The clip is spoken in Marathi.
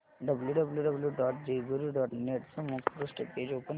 W W W dot Jejuri dot net चे मुखपृष्ठ पेज ओपन कर